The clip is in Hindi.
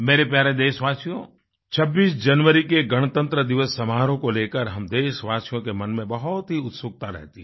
मेरे प्यारे देशवासियो 26 जनवरी के गणतंत्र दिवस समारोह को लेकर हम देशवासियों के मन में बहुत ही उत्सुकता रहती है